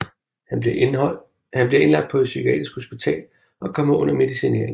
Han bliver indlagt på et psykiatrisk hospital og kommer under medicinering